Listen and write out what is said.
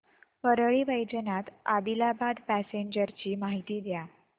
Parli Vaijnath Adilabad passenger ची माहिती द्या